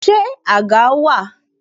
Ṣé àga wà?